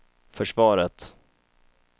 försvaret